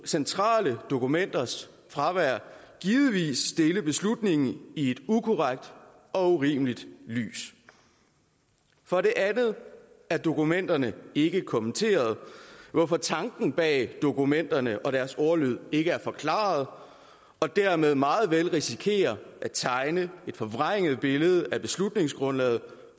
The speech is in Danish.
centrale dokumenters fravær givetvis stille beslutningen i et ukorrekt og urimeligt lys for det andet er dokumenterne ikke kommenteret hvorfor tanken bag dokumenterne og deres ordlyd ikke er forklaret og dermed meget vel risikere at tegne et forvrænget billede af beslutningsgrundlaget